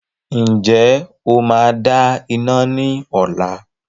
Ǹjẹ́ o máa dá iná ní ọ̀la?